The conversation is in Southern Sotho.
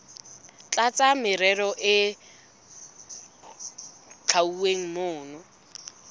tlasa merero e hlwauweng mona